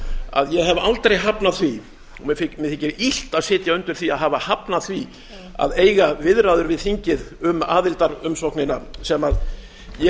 að ég hef aldrei hafnað því og mér þykir illt að sitja undir því að hafa hafnað því að eiga viðræður við þingið um aðildarumsóknina sem ég